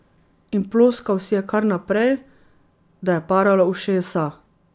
In ploskal si je kar naprej, da je paralo ušesa.